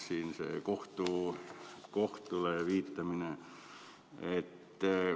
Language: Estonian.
Siin on see kohtule viitamine.